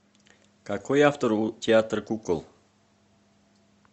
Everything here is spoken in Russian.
какой автор у театр кукол